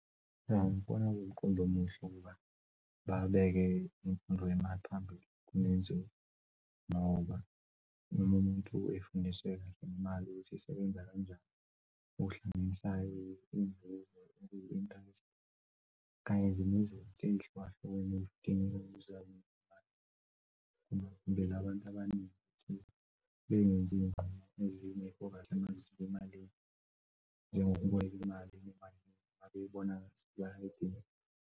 Cha, ngibona kuwumqondo omuhle ukuba babeke imfundo yemali phambili kunenzuzo ngoba noma umuntu efundiseke ngemali ukuthi isebenza kanjani ukuhlanganisa inzuzo kanye ehlukahlukene ngoba vele abantu abaningi benziy'nqumo amazimba emalini njengokuboleka imali mabebona ngathi bayayidinga.